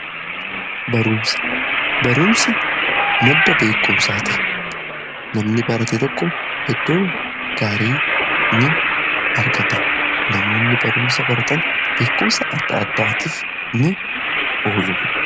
Baruumsi madda beekumsaati. Namni baratee tokko iddoo gaarii ni argata. Namoonni baruumsa baratan beekumsa adda adda'atiif ni oolu.